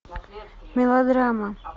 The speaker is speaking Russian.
мелодрама